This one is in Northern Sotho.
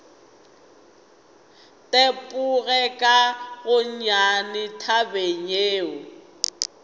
tepoge ka gonnyane tabeng yeo